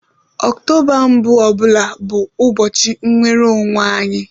Ọktoba mbụ ọ bụla bụ ụbọchị nnwere onwe anyị